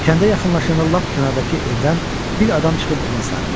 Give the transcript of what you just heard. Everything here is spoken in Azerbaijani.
Kəndə yaxınlaşanda lap kənardakı evdən bir adam çıxıb ona sarı baxdı.